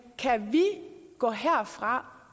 kan vi gå herfra